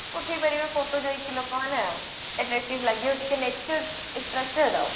ଉଠେଇ ପାରିବେ photo ଯାଇକି ଲୋକ ମାନେ attractive ଲାଗିବ ଟିକେ nature attracted ଆଉ